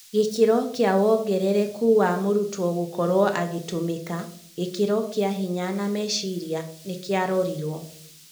Gĩkĩro kĩa wongerereku wa mũrutwo gũkorwo agĩtũmĩka (gĩkĩro kĩa hinya na meciria) nĩkĩarorirwo.